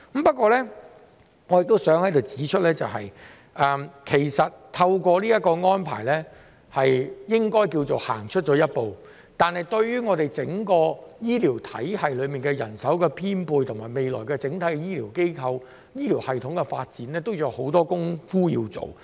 不過，我想在此指出，這個安排應該算是走出了一步，但對於整個醫療體系的人手編配，以及未來醫療機構、醫療系統的整體發展，仍有很多工夫要做。